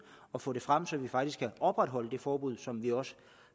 og få det frem så vi faktisk kan opretholde et forbud som vi også